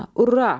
Urra!